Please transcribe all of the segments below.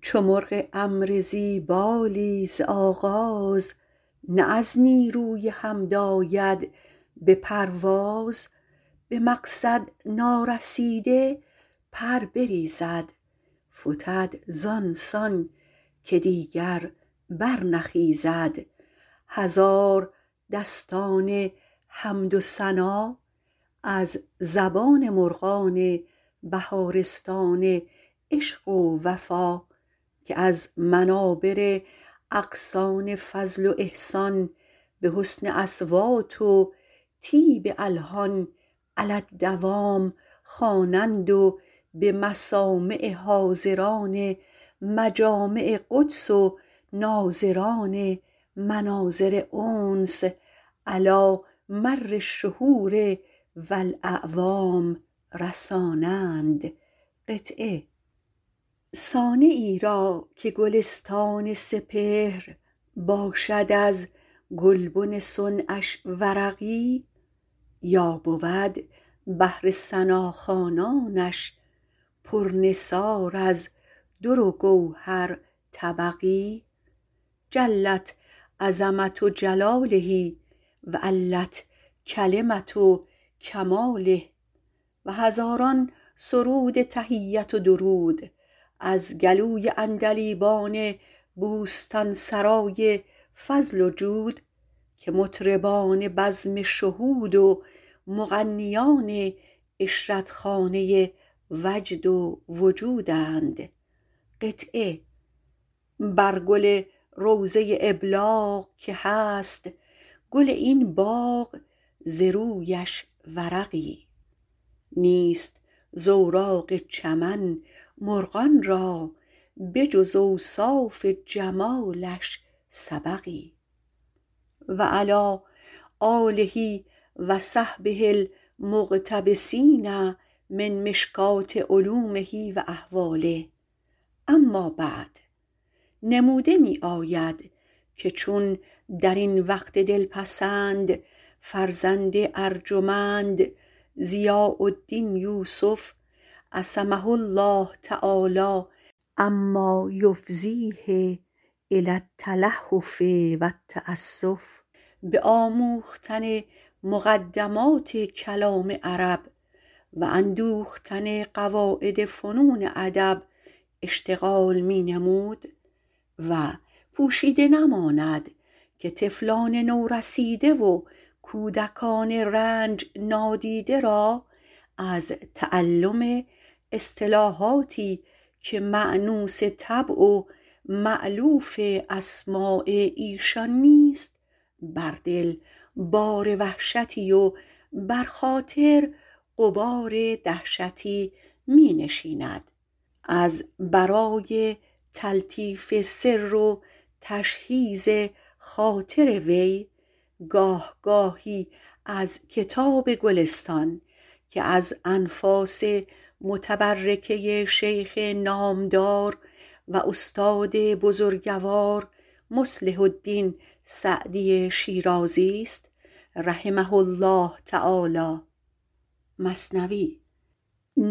چو مرغ امر ذی بالی ز آغاز نه از نیروی حمد آید به پرواز به مقصد نارسیده پر بریزد فتد زانسان که هرگز برنخیزد هزاران داستان حمد و ثنا از زبان مرغان بهارستان عشق و وفا که از منابر اغصان فضل و احسان به حسن اصوات و طیب الحان علی الدوام خوانند و به مسامع حاضران مجامع قدس و ناظران مناظر انس علی مرالشهور و الاعوام رسانند صانعی را که گلستان سپهر باشد از گلشن حسنش ورقی یا بود بهر ثنا خوانانش پر نثار در و گوهر طبقی جلت عظمة جلاله و علت کلمة کماله و هزار درود و تحیت و سرود از گلوی عندلیبان بستانسرای فضل وجود که مطربان بزم شهود و مغنیان عشرتخانه وجد و وجودند هر گل روضه ابلاغ که هست گل این باغ ز رویش ورقی نیست زاوراق چمن مرغان را بجز اوصاف جمالش سبقی و علی صحبه و آله المقتبسین من مشکاة علومه و احواله امابعد نموده می آید که چون در این وقت دلپسند فرزند ارجمند ضیاء الدین یوسف - عصمه الله عما یفضیه الی التلهف و التأسف - به آموختن مقدمات کلام عرب و اندوختن قواعد فنون ادب اشتغال نمود و پوشیده نماند که طفلان نورسیده و کودکان رنج نادیده را از تعلم اصطلاحاتی که مأنوس طباع و مألوف استماع ایشان نیست بر دل بار وحشتی و در خاطر غبار دهشتی می نشیند از برای تلطیف سر و تشحیذ خاطر وی گاه گاهی از کتاب گلستان که از انفاس متبرکه شیخ نامدار و استاد بزرگوار مصلح الدین سعدی شیرازی است رحمه الله تعالی سطری چند خوانده می شد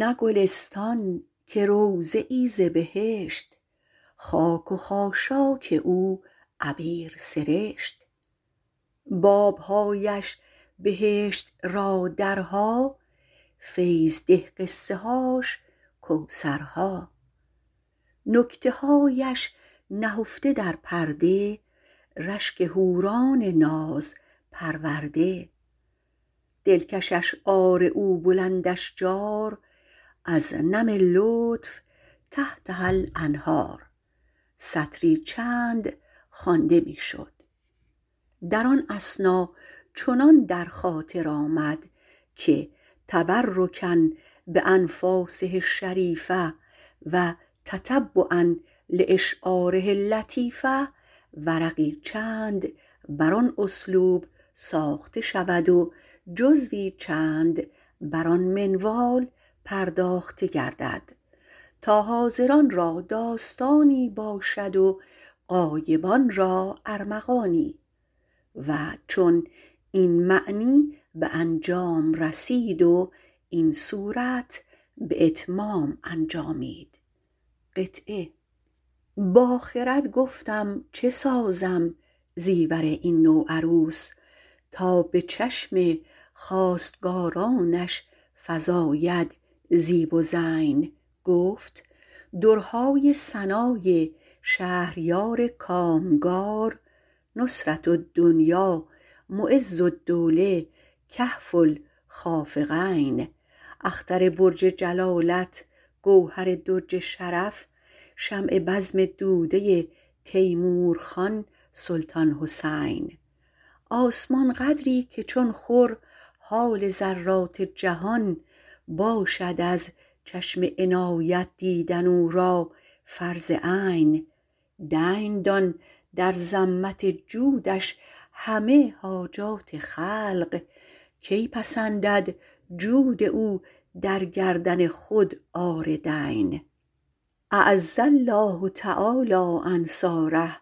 نه گلستان که روضه ای ز بهشت خاک و خاشاک او عبیر سرشت بابهایش بهشت را درها فیض ده قصه هاش کوثرها نکته هایش نهفته در پرده رشک حوران ناز پرورده دلکش اشعار او بلند اشجار از نم لطف تحتهاالانهار در آن اثنا چنان در خاطر آمد که - تبرکا با نفاسه الشریفة و تتبعا لا شعاره اللطیفة - ورقی چند بر آن اسلوب ساخته شود و جزوی چند بر آن منوال پرداخته گردد تا حاضران را داستانی باشد و غایبان را ارمغانی و چون این معنی به انجام رسید و این صورت به اتمام انجامید با خرد گفتم چه سازم زیور این نوعروس تا به چشم خواستگارانش فزاید زیب و زین گفت درهای ثنای شهریار کامگار نصرة الدینا معز الدوله کهف الخافقین اختر برج جلالت گوهر درج شرف شمع بزم دوده تیمورخان سلطان حسین آسمان قدری که چون خور حال ذرات جهان باشد از چشم عنایت دیدن او را فرض عین دین دان در ذمه جودش همه حاجات خلق کم پسندد جود او در گردن خود عار دین اعز الله تعالی انصاره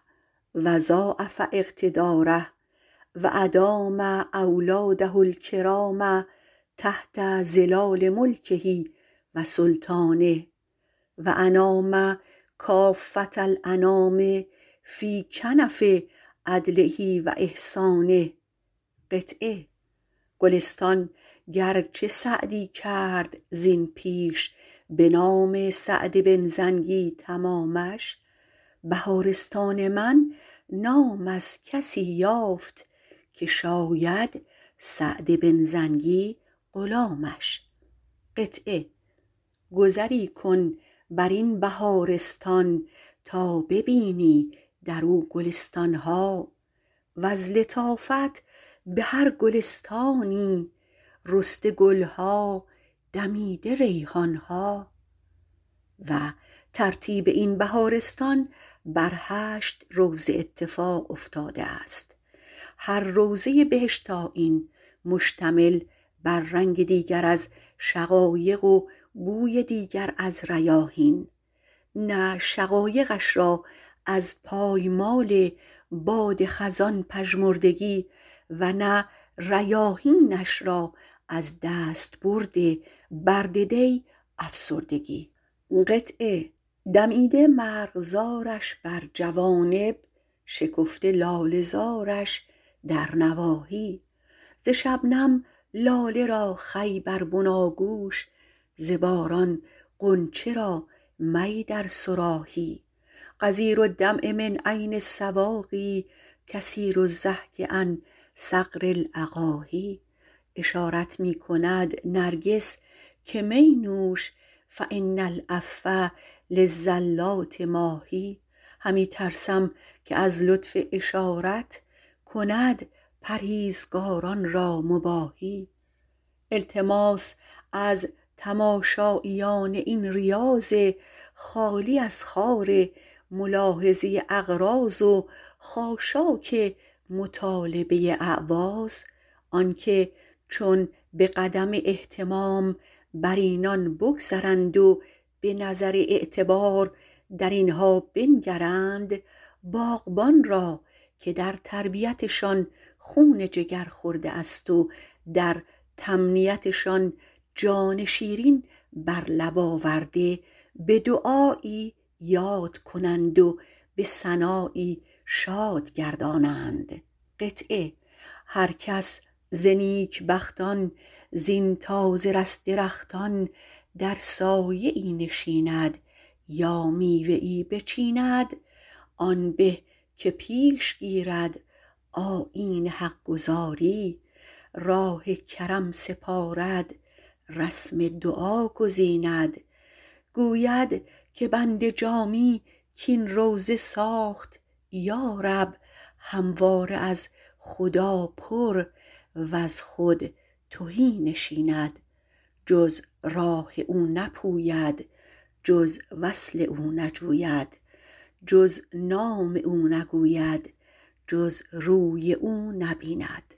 و ضاعف اقتداره و ادام اولاده الکرام تحت ظلال ملکه و سلطانه و انام کافة الانام فی کنف عدله و احسانه گلستان گرچه سعدی کرد از این پیش به نام سعد بن زنگی تمامش بهارستان من نام از کسی یافت که شاید سعد بن زنگی غلامش گذری کن درین بهارستان تا ببینی در او گلستانها وز لطایف به هر گلستانی رسته گلها دمیده ریحانها و ترتیب این بهارستان بر هشت روضه اتفاق افتاده است هر روضه ای بهشت آیین مشتمل بر رنگ دیگر از شقایق و بوی دیگر از ریاحین نه شقایقش را از پایمال باد خزان پژمردگی و نه ریاحینش را از دستبرد برد دی افسردگی دمیده مرغزارش بر جوانب شکفته لاله زارش در نواحی ز شبنم لاله را خوی در بناگوش ز باران غنچه را می در صراحی غزیر الدمع من عین السواقی کثیرالضحک عن ثغر الاقاحی اشارت می کند نرگس که می نوش فان العفو للزلات ماحی همی ترسم که از لطف اشارت کند پرهیزگاران را مباحی التماس از تماشاییان این ریاض خالی از خار ملاحظه اعراض و خاشاک مطالبه اعواض آنکه چون به قدم اهتمام بر اینان بگذرند و به نظر اعتبار در اینها بنگرند باغبان را که در تربیت شان خون جگر خورده است و در تنمیت شان جان شیرین بر لب آورده به دعایی یاد کنند و به ثنایی شاد گردانند هر کس ز نیک بختان زین تازه رس درختان در سایه ای نشیند یا میوه ای بچیند آن به که پیش گیرد آیین حق گزاری راه کرم سپارد رسم دعا گزیند گوید که بنده جامی کین روضه ساخت یا رب همواره از خدا پر وز خود تهی نشیند جز راه او نپوید جز وصل او نجوید جز نام او نگوید جز روی او نبیند